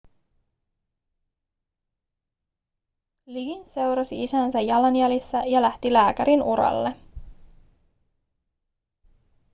liggins seurasi isänsä jalanjäljissä ja lähti lääkärinuralle